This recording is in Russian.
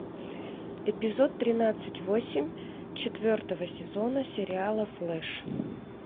эпизод тринадцать восемь четвертого сезона сериала флэш